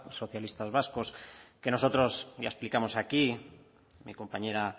socialistas vascos que nosotros ya explicamos aquí mi compañera